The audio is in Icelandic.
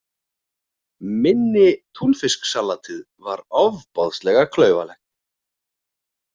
Minni Túnfisksalatið var ofboðslega klaufalegt.